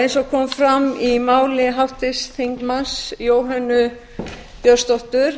eins og kom fram í máli háttvirts þingmanns jóhönnu björnsdóttur